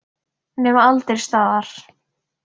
Nema aldrei staðar.